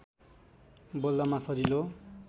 बोल्दामा सजिलो